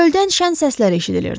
Çöldən şən səslər eşidilirdi.